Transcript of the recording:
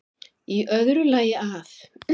Í öðru lagi að